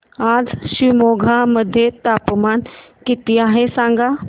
आज शिमोगा मध्ये तापमान किती आहे सांगा